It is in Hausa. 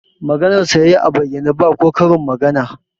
Maganarsa ya yi a bayyane, ba ko karin magana